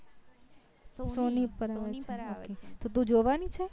sony ઉપર તો તું જોવાની છો